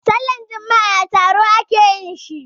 Sallan juma'a a taro a ke yin shi.